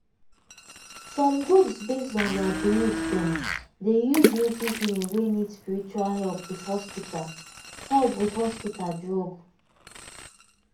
some groups based on their belief dem dey use native healing wey need spiritual help with hospital help with hospital drug.